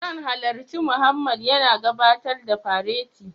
Zan halarci Mohammed yana gabatar da fareti